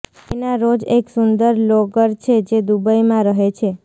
લેના Rose એક સુંદર vlogger છે જે દુબઈમાં રહે છે